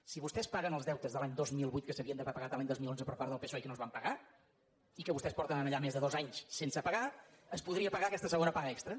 si vostès pa guen els deutes de l’any dos mil vuit que s’havien d’haver pagat l’any dos mil onze per part del psoe i que no es van pagar i que vostès porten allà més de dos anys sense pagar es podria pagar aquesta segona paga extra